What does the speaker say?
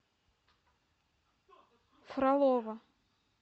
фролово